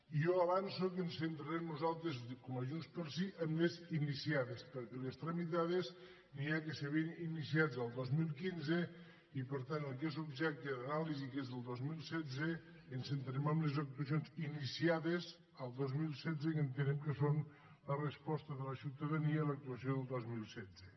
jo avanço que ens centrarem nosaltres com a junts pel sí en les iniciades perquè en les tramitades n’hi ha que s’havien iniciat el dos mil quinze i per tant en el que és objecte d’anàlisi que és el dos mil setze ens centrem en les actuacions iniciades el dos mil setze que entenem que són la resposta de la ciutadania a l’actuació del dos mil setze